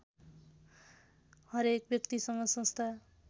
हरेक व्यक्तिसँग संस्था